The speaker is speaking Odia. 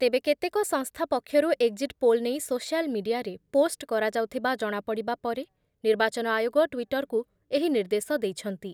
ତେବେ କେତେକ ସଂସ୍ଥା ପକ୍ଷରୁ ଏକ୍‌ଜିଟ୍ ପୋଲ୍ ନେଇ ସୋସିଆଲ୍ ମିଡିଆରେ ପୋଷ୍ଟ କରାଯାଉଥିବା ଜଣାପଡ଼ିବା ପରେ ନିର୍ବାଚନ ଆୟୋଗ ଟ୍ଵିଟରକୁ ଏହି ନିର୍ଦ୍ଦେଶ ଦେଇଛନ୍ତି ।